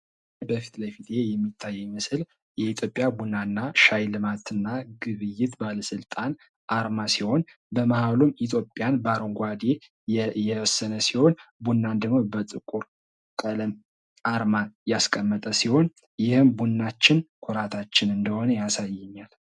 በፊት ለፊቴ የሚታየኝ ምስል የኢትዮጵያ ቡና እና ሻይ ልማትና ግብይት ባለስልጣን አርማ ሲሆን በመሐሉም ኢትዮጵያን በአረንጓዴ የመሰለ ሲሆን ቡናን ደግሞ በጥቁር ቀለም አርማ ያስቀመጠ ሲሆን ይህም ቡናችን ኩራታችን እንደሆነ ያሳያል።